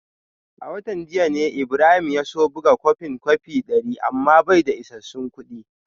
A watan jiya ne Ibrahim ya so buga kwafin kwafi dari amma bai da isassun kudi